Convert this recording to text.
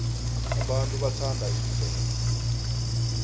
abantu bathanda imvelo